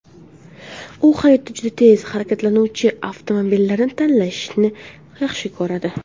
U hayotda juda tez harakatlanuvchi avtomobillarni tanlashni yaxshi ko‘radi.